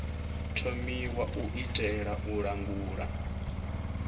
thomiwa u itela u langula